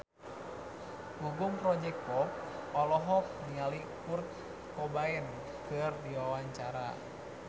Gugum Project Pop olohok ningali Kurt Cobain keur diwawancara